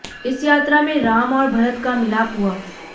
इस यात्रा में राम और भरत का मिलाप हुआ